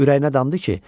Ürəyinə damdı ki,